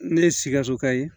Ne ye sikasokayi